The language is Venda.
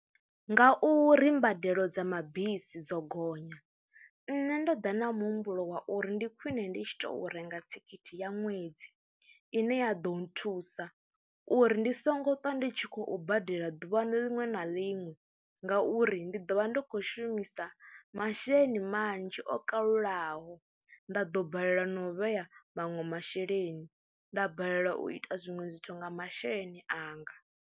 Ngauri mbadelo dza mabisi dzo gonya nṋe ndo ḓa na muhumbulo wa uri ndi khwine ndi tshi tou renga thikhithi ya ṅwedzi ine ya ḓo nthusa uri ndi songo ṱwa ndi tshi khou badela ḓuvha liṅwe na liṅwe ngauri ndi ḓo vha ndo khou shumisa masheleni manzhi o kalulaho, nda ḓo balelwa na u vhea maṅwe masheleni, nda balelwa u ita zwiṅwe zwithu nga masheleni anga.